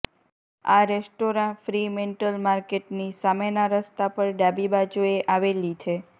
આ restaurant Fremantle માર્કેટની સામેના રસ્તા પર ડાબી બાજુએ આવેલી છે